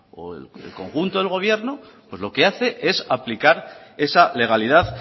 o el conjunto del gobierno pues lo que hace es aplicar esa legalidad